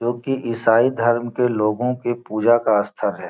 जो की ईसाई धर्म के लोगो के पूजा का आस्था है।